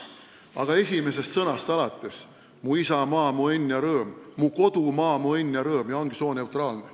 Aga esimesest lausest alates, kui "Mu isamaa, mu õnn ja rõõm" asemel oleks "Mu kodumaa, mu õnn ja rõõm" – ja ongi sooneutraalne.